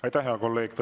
Aitäh, hea kolleeg!